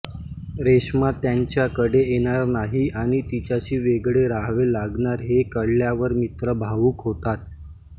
रेश्मा त्यांच्याकडे येणार नाही आणि तिच्याशी वेगळे राहावे लागणार हे कळल्यावर मित्र भावूक होतात